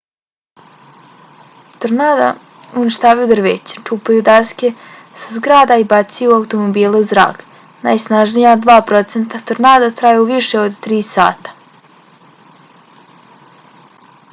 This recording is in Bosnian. tornada uništavaju drveće čupaju daske sa zgrada i bacaju automobile u zrak. najsnažnija dva procenta tornada traju više od tri sata